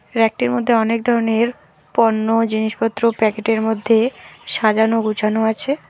রেকটির মধ্যে অনেক ধরনের পণ্য জিনিসপত্র প্যাকেটের মধ্যে সাজানো গুছানো আছে।